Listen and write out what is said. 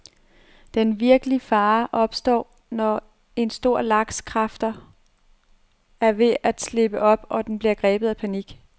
Den virkelig fare opstår, når en stor laks' kræfter er ved at slippe op, og den bliver grebet af panik.